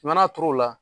I mana a turu o la